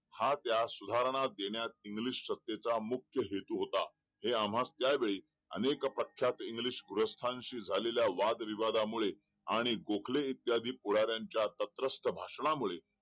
हा त्या सुधारणा देण्यास इंग्लिश सत्तेचा मुख्य हेतू होता हे आम्हास त्या वेळीस अनेक पक्षात झालेल्या वाद विवादामुळे आणि गोखले इत्यादींच्या तंत्रस्त भाषणामुळे